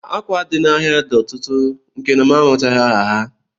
Akwa dị n'ahịa dị ọtụtụ nke na amachaghị m aha ha